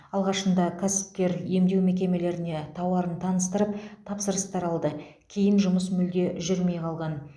алғашында кәсіпкер емдеу мекемелеріне тауарын таныстырып тапсырыстар алды кейін жұмыс мүлде жүрмей қалған